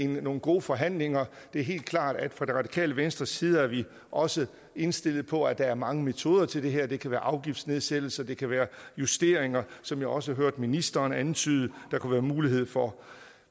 nogle gode forhandlinger det er helt klart at fra radikale venstres side er vi også indstillet på at der er mange metoder til det her det kan være afgiftsnedsættelser det kan være justeringer som jeg også hørte ministeren antydede der kunne være mulighed for